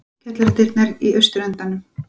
Kjallaradyrnar í austurendanum.